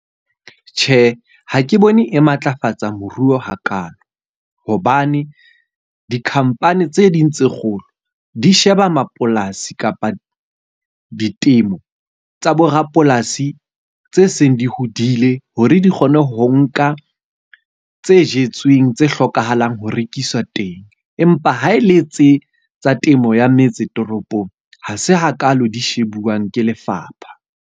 Tjhe, ha ke bone e matlafatsa moruo hakalo. Hobane dikhampani tse ding tse kgolo di sheba mapolasi kapa ditemo tsa borapolasi tse seng di hodile, hore di kgone ho nka tse jetsweng tse hlokahalang ho rekiswa teng. Empa ha e le tse tsa temo ya metse toropong, ha se hakalo di shebuwang ke lefapha.